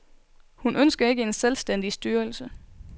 Hun ønsker ikke en selvstændig styrelse.